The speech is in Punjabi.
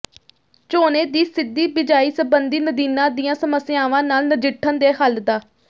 ਝੋਨੇ ਦੀ ਸਿੱਧੀ ਬਿਜਾਈ ਸਬੰਧੀ ਨਦੀਨਾਂ ਦੀਆਂ ਸਮੱਸਿਆਵਾਂ ਨਾਲ ਨਜਿੱਠਣ ਦੇ ਹੱਲ ਡਾ